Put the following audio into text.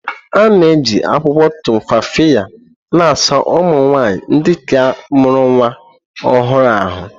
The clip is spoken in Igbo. A na-eji akwụkwọ Tumfafiya na-asa ụmụ nwanyị ndị ka mụrụ nnwa ọhụrụ ahụ́.